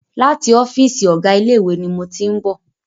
Láti ọ́fìsì ọ̀gá ilé ìwé ni mo tí ń bọ̀.